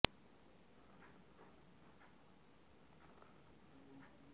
তত্ৰাচ এটা কথাত মনটো ভেঁকুৰা কৰদৈ এচাৰকণ যেন চোক আৰু ৰসপিতো নাইকিয়া হৈ থাকে